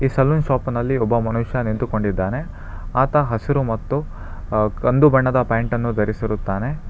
ಈ ಸಲೂನ್ ಶಾಪಿನಲ್ಲಿ ಒಬ್ಬ ಮನುಷ್ಯ ನಿಂತುಕೊಂಡಿದ್ದಾನೆ ಆತ ಹಸಿರು ಮತ್ತು ಅ ಕಂದು ಬಣ್ಣದ ಪ್ಯಾಂಟ್ ಅನ್ನು ಧರಿಸಿರುತ್ತಾನೆ.